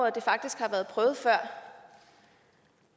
at det faktisk har været prøvet før